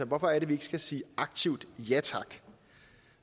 hvorfor er det vi ikke skal sige aktivt ja tak